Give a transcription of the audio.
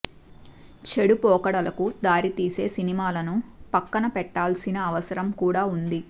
చెడు పోకడలకు దారి తీసే సినిమాలను పక్కన పెట్టాల్సిన అవసరం కూడా వుంది